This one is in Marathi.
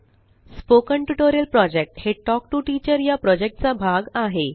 स्पोकन टयूटोरियल प्रोजेक्ट हे तल्क टीओ टीचर चा भाग आहे